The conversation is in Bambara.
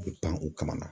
A bɛ pan u kamana